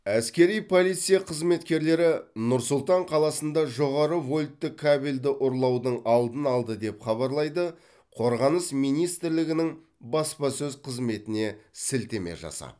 әскери полиция қызметкерлері нұр сұлтан қаласында жоғары вольтты кабельді ұрлаудың алдын алды деп хабарлайды қорғаныс министрлігінің баспасөз қызметіне сілтеме жасап